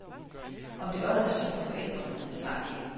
Om det også er synd for forældrene ved jeg snart ikke.